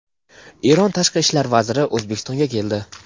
Eron Tashqi ishlar vaziri O‘zbekistonga keldi.